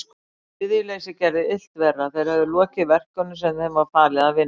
Iðjuleysið gerði illt verra, þeir höfðu lokið verkunum sem þeim var falið að vinna.